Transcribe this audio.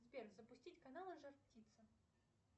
сбер запустить каналы жар птица